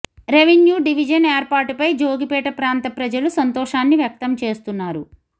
revenue division ఏర్పాటు పై జోగిపేట ప్రాంత ప్రజలు సంతోషాన్ని వ్యక్తం చేస్తున్నారు